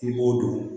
I b'o dɔn